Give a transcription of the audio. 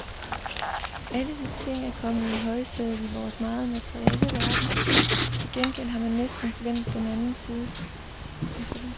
Alle de ting er kommet i højsædet i vores meget materielle verden, til gengæld har man næsten glemt den anden side.